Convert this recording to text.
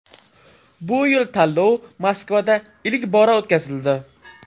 Bu yil tanlov Moskvada ilk bora o‘tkazildi.